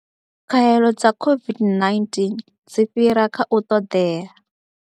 Khaelo dza COVID-19 dzi fhira kha u ṱoḓea.